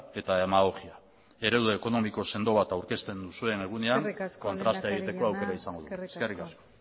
eta demagogia eredu ekonomiko sendo bat aurkezten duzuen egunean kontrastea egiteko aukera izango dut eskerrik asko eskerrik asko